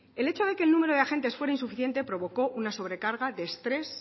el hecho de que el número de agentes fuera insuficiente provocó una sobre carga de estrés